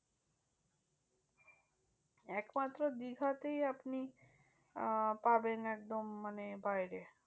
এক মাত্র দীঘাতেই আপনি আহ পাবেন একদম মানে বাইরে।